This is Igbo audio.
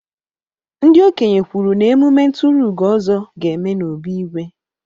Ndị okenye kwuru na emume nturuugo Ozo ga-eme n'obí Igwe.